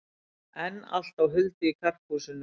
Enn allt á huldu í Karphúsinu